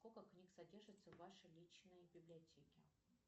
сколько книг содержится в вашей личной библиотеке